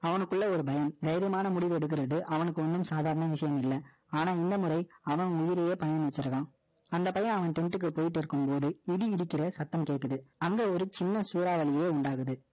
அவனுக்குள்ள ஒரு பயம், தைரியமான முடிவு எடுக்கிறது, அவனுக்கு ஒண்ணும் சாதாரண விஷயம் இல்லை. ஆனால், இந்த முறை, அவன் உயிரையே பணயம் வச்சிருக்கான். அந்த பையன், அவன் tent க்கு போயிட்டு இருக்கும்போது, இடி, இடிக்கிற சத்தம் கேட்குது. அந்த ஒரு சின்ன சூறாவளியை உண்டாகுது.